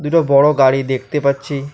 দুটো বড়ো গাড়ি দেখতে পাচ্ছি।